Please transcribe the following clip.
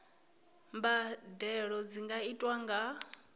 mbadelo dzi nga itwa nga